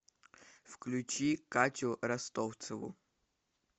включи катю ростовцеву